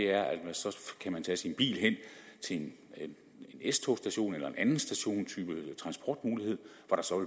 er at man så kan tage sin bil hen til en s togs station eller en anden stationstype eller transportmulighed hvor der så